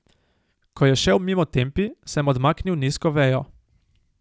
Ko je šel mimo Tempi, sem odmaknil nizko vejo.